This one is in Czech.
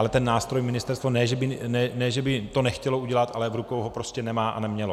Ale ten nástroj ministerstvo - ne že by to nechtělo udělat, ale v rukou ho prostě nemá a nemělo.